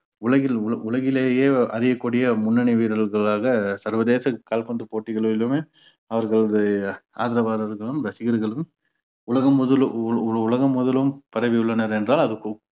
உலகில் உ~ உலகிலேயே அறியக்கூடிய முன்னனி வீரர்களாக சர்வதேச கால்பந்து போட்டிகளிலுமே அவர்களது ஆதரவாளர்களும் ரசிகர்களும் உலகம் முழுதும் உ~ உலகம் முதலும் பரவியுள்ளனர் என்றால் அதற்கும்